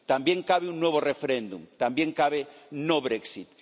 también cabe un nuevo referéndum, también cabe no Brexit